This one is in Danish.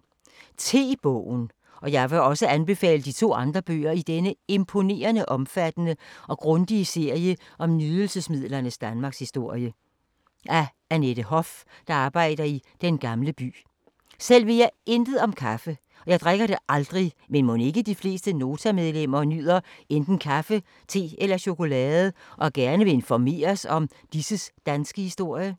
Te-bogen. Og jeg vil også anbefale de to andre bøger i denne imponerende omfattende og grundige serie om nydelsesmidlernes danmarkshistorie. Selv ved jeg intet om kaffe, men mon ikke de fleste Nota-medlemmer nyder enten kaffe, te eller chokolade, og gerne vil informeres om disses danske historie?